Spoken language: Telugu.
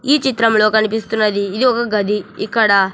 ఈ చిత్రంలో కనిపిస్తున్నది ఇది ఒక గది ఇక్కడ--